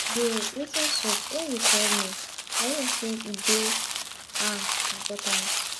bro wetin sup why you call me i hope say e dey um important